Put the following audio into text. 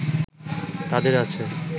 তাদের আছে